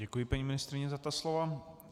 Děkuji paní ministryni za ta slova.